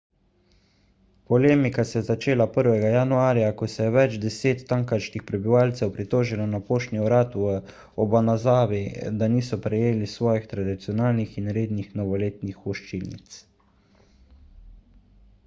polemika se je začela 1 januarja ko se je več deset tamkajšnjih prebivalcev pritožilo na poštni urad v obanazawi da niso prejeli svojih tradicionalnih in rednih novoletnih voščilnic